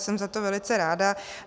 Jsem za to velice ráda.